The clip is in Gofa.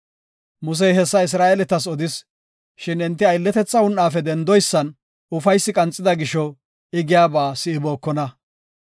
Musey hessa Isra7eeletas odis, shin enti aylletetha un7afe dendoysan ufaysi qanxida gisho I giyaba si7ibookona.